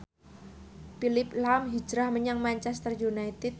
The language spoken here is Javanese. Phillip lahm hijrah menyang Manchester united